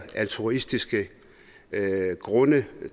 af altruistiske grunde